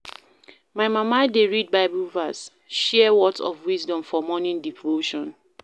My mama dey read Bible verse, share words of wisdom for morning devotion.